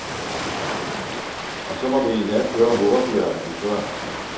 Og så må det endda køre hurtigere end før.